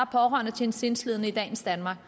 pårørende til en sindslidende i dagens danmark